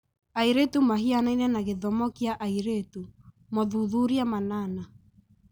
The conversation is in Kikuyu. Airĩtu mahianaine na gĩthomo kĩa airĩtu (mothuthuria manana)